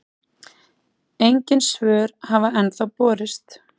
Engin svör hafa ennþá borist.